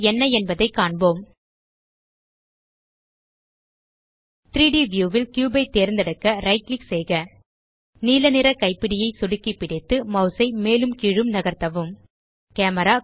இவை என்ன என்பதை காண்போம் 3ட் வியூ ல் கியூப் ஐ தேர்ந்தெடுக்க ரைட் கிளிக் செய்க நீலநிற கைப்பிடியை சொடுக்கி பிடித்து மாஸ் ஐ மேலும் கீழும் நகர்த்தவும் கேமரா